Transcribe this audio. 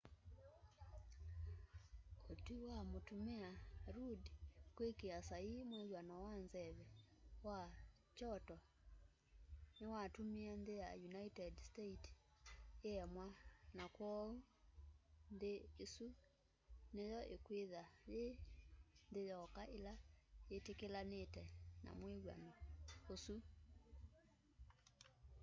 ũtwĩ wa mũtũmĩa rũdd kwĩkĩa saĩĩ mwĩw'ano wa nzeve wa kyoto nĩwatũmĩe nthĩ ya ũnĩted states ĩengwa na kwooũ nthĩ ya ĩsũ nĩyo ĩkwĩtha yĩ nthĩ yoka ĩla yĩtĩkĩlanĩte na mwĩwano ũsũ